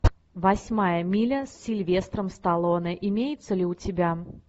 восьмая миля с сильвестром сталлоне имеется ли у тебя